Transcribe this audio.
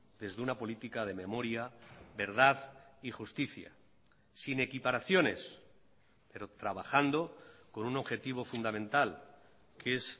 desde una política de memoria verdad y justicia sin equiparaciones pero trabajando con un objetivo fundamental que es